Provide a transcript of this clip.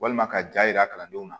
Walima ka jaa yira kalandenw na